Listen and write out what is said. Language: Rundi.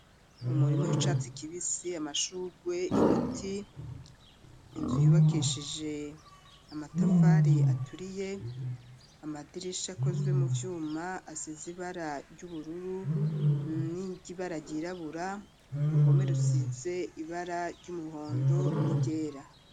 Umurima, w'icatsi kibisi, amashurwe, ibiti, inzu yubakishije, amatafari aturiye, amadirisha, akozwe mu vyuma, asize ibara ry'ubururu, n'ibara ryirabura, uruhome, rusize ibara, ry'umuhondo n'iryera.